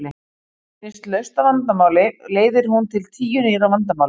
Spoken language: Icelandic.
Finnist lausn á vandamáli leiðir hún til tíu nýrra vandamála.